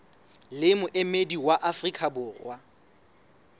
le moemedi wa afrika borwa